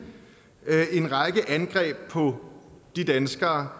en række angreb på de danskere